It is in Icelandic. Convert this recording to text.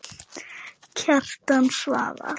Kjartan svarar